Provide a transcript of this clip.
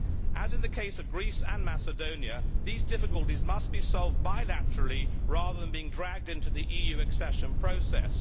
As in the case of Greece and Macedonia, these difficulties must be solved bilaterally rather than being dragged into the EU accession process.